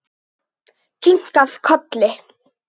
Kinkað kolli.